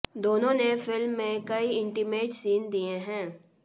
दोनों ने फिल्म में कई इंटिमेट सीन दिए हैं